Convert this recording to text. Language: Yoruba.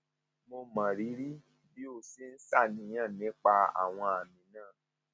mo mọrírì bí o ṣe ń ṣàníyàn nípa àwọn àmì náà